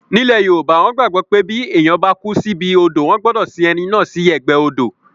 Ní ilẹ̀ yoòbá, wọ́n gbàgbọ́ pé bí èèyàn bá kú síbi odò wọ́n gbọdọ̀ sin ẹni náà sí ẹ̀gbẹ́ odò